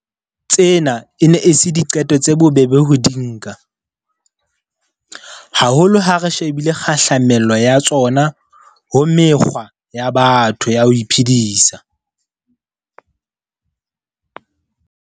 Tsena e ne e se diqeto tse bobebe ho di nka, haholo ha re shebile kgahlamelo ya tsona ho mekgwa ya batho ya ho iphedisa.